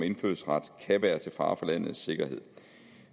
indfødsret kan være til fare for landets sikkerhed